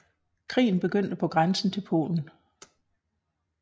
Krigen begyndte på grænsen til Polen